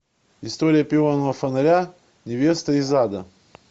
история пионового фонаря невеста из ада